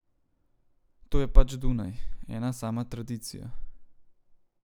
To je pač Dunaj, ena sama tradicija.